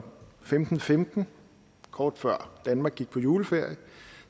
femten femten kort før danmark gik på juleferie